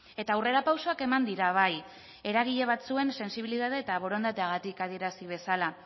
eta aurrerapausoak eman dira bai eragile batzuen sentsibilitate eta borondateagatik adierazi bezala